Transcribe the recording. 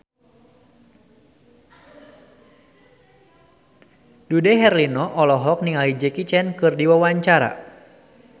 Dude Herlino olohok ningali Jackie Chan keur diwawancara